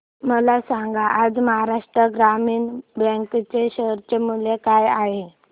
मला सांगा आज महाराष्ट्र ग्रामीण बँक चे शेअर मूल्य काय आहे